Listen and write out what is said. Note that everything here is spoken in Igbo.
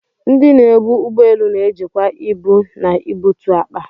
Ndị na-ebu ụgbọ elu na-ejikwa ibu na ibutu akpa.